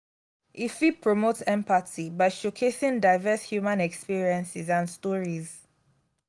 e fit promote empathy by showcasing diverse human experiences and stories.